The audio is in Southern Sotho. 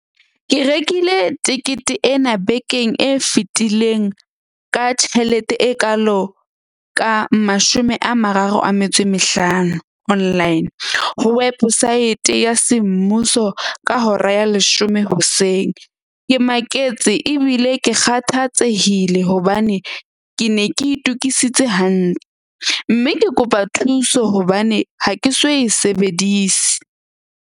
Ke rekile tekete ena bekeng e fetileng ka tjhelete e kaalo ka mashome a mararo a metso e mehlano online, ho weposaete ya semmuso ka hora ya leshome hoseng. Ke maketse ebile ke kgathatsehile hobane ke ne ke itukisitse hantle. Mme ke kopa thuso hobane ha ke so e sebedise.